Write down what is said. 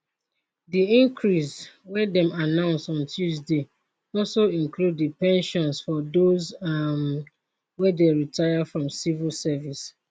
di increase wey dem announce on tuesday also include di pensions for those um wey dey retire from civil service